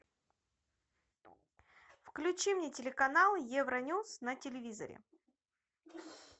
включи мне телеканал евроньюс на телевизоре